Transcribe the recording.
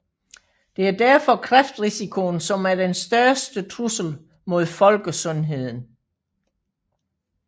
Det er derfor kræftrisikoen som er den største trussel mod folkesundheden